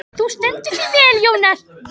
Þú stendur þig vel, Jónar!